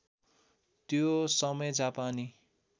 त्यो समय जापानी